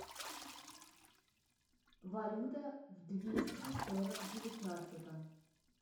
валюта в двести сорок девятнадцатом